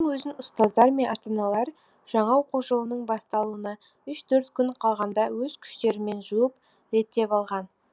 мұның өзін ұстаздар мен ата аналар жаңа оқу жылының басталуына үш төрт күн қалғанда өз күштерімен жуып реттеп алған